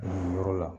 Nin yɔrɔ la